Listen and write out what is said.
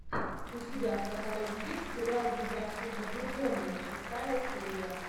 у тебя в каталоге есть сериал безрассудно влюбленные шестая серия